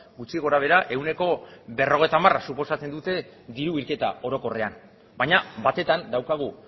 gutxi gorabehera ehuneko berrogeita hamara suposatzen dute diru bilketa orokorrean baina batetan